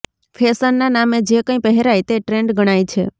ફેશનના નામે જે કંઇ પહેરાય તે ટ્રેન્ડ ગણાય છે